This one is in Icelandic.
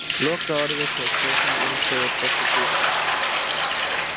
Lokaorðið hjá kjósendum segir forseti Íslands